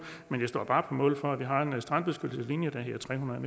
men jeg står bare på mål for at vi har en strandbeskyttelseslinje der hedder tre hundrede